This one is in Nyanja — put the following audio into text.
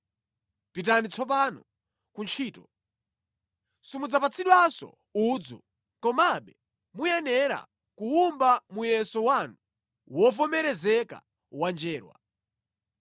Pitani tsopano kuntchito. Simudzapatsidwanso udzu komabe muyenera kuwumba muyeso wanu wovomerezeka wa njerwa.”